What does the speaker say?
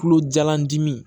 Kulo jalan dimi